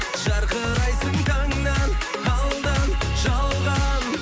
жарқырайсың таңнан алдан жалған